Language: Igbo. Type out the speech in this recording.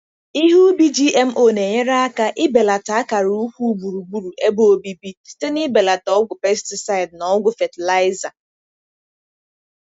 Ihe ubi GMO na-enyere aka ibelata akara ukwu gburugburu ebe obibi site na ibelata ọgwụ pesticide na ọgwụ fatịlaịza.